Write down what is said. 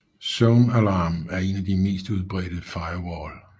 ZoneAlarm er en af de mere udbredte firewall